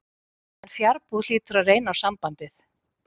En fjarbúð hlýtur að reyna á sambandið.